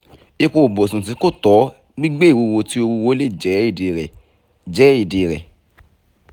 ipo ibusun ti ko tọ gbigbe iwuwo ti o wuwo le jẹ idi rẹ jẹ idi rẹ